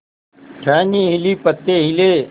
टहनी हिली पत्ते हिले